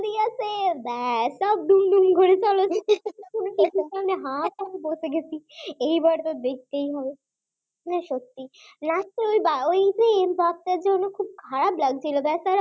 করছে ব্যাস সব দুমদুম করে ঘরে চলো টিভির সামনে হাঁ করে বসে গেছি এইবার তো দেখতেই হবে মানে সত্যি last ওই যে ওই m mbappe এর জন্য খুব খারাপ লাগছিল